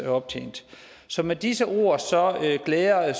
optjent så med disse ord glæder